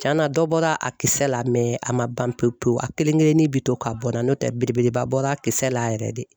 Tiɲɛna dɔ bɔra a kisɛ la a ma ban pewu pewu a kelen kelenin bɛ to ka bɔn na n'o tɛ belebeleba bɔra a kisɛ la yɛrɛ de.